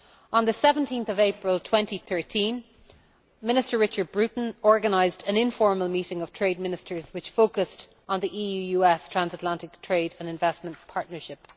On 17 April 2013, Minister Richard Bruton organised an informal meeting of trade Ministers which focused on the EU US Transatlantic Trade and Investment Partnership.